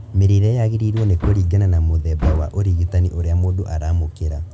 Mĩrĩre yagĩrĩirwo nĩ kũringana na mũthemba wa ũrigitani ũrĩa mũndũ aramũkĩra